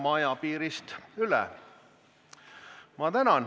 Ma tänan!